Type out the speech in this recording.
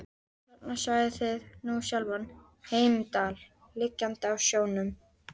Og þarna sjáið þið nú sjálfan Heimdall liggjandi á sjónum.